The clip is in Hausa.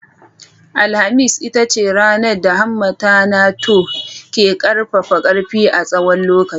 Alhamis ita ce ranar da hammata na Thor ke ƙarfafa ƙarfi a tsawon lokaci.